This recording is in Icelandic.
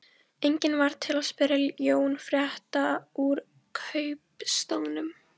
Enginn varð til að spyrja Jón frétta úr kaupstaðnum.